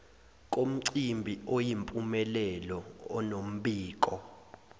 komcimbi oyimpumelelo onombiko